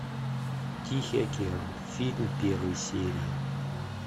тихий океан фильм первая серия